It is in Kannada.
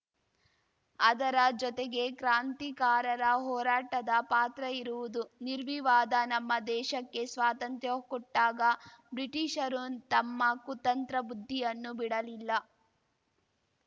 ಅದರ ಜೊತೆಗೆ ಕ್ರಾಂತಿಕಾರರ ಹೋರಾಟದ ಪಾತ್ರ ಇರುವುದು ನಿರ್ವಿವಾದ ನಮ್ಮ ದೇಶಕ್ಕೆ ಸ್ವಾತಂತ್ರ್ಯ ಕೊಟ್ಟಾಗ ಬ್ರಿಟಿಷರು ತಮ್ಮ ಕುತಂತ್ರ ಬುದ್ಧಿಯನ್ನು ಬಿಡಲಿಲ್ಲ